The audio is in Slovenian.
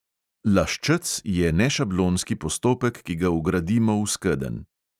Laščec je nešablonski postopek, ki ga vgradimo v skedenj.